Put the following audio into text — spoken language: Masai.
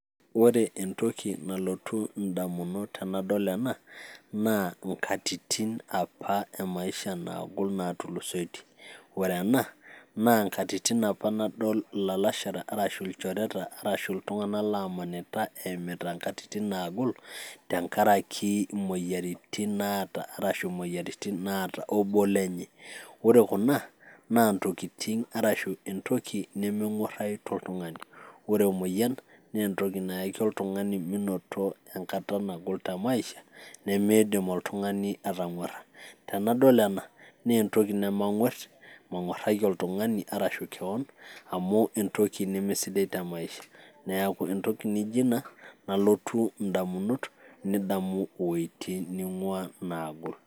ore entoki nalotu ndamunot enadool enaa. naa nkatitin apa maisha nagol natulusoitie, wore ena naa nkatitin apa nadol ilalashera ilchoreta arashu iltunganak lamanita eimita nkatitin nagol tenkaraki moyiaritin naata obo lenye ore kuna naa ntokiting arashu entoki nemengúarayu toltungani ore emoyian naa entoki nayaki oltung'ani minoto enkata nagol maisha nimidiim oltung'ani atangúara. Enadol ena naa entoki nemang'uer ang'uaraki oltung'ani aashu kewon amu entoki nemesidai te maisha neaku naijio inaa nalotu ndamunot nidamu wuejitin nagol